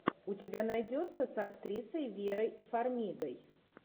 у тебя найдется с актрисой верой фармигой